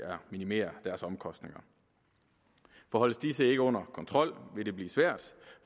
minimere deres omkostninger for holdes disse ikke under kontrol vil det blive svært